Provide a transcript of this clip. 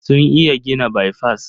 Sun iya gina baifas.